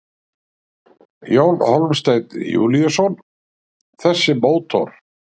Jón Hólmsteinn Júlíusson: Þessi mótor?